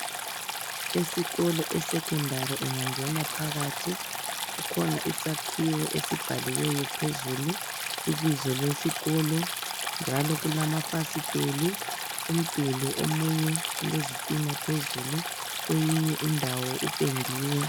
Esikolo esecondary ungangena phakathi kukhona isakhiwe esibhaliweyo phezulu ibizo lesikolo njalo kulamafasiteli umduli omunye ulezitina phezulu kweyinye indawo kupendiwe.